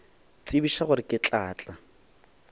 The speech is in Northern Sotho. tsebiša gore ke tla tla